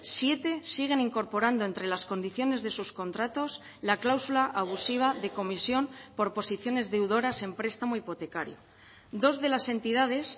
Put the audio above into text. siete siguen incorporando entre las condiciones de sus contratos la cláusula abusiva de comisión por posiciones deudoras en prestamo hipotecario dos de las entidades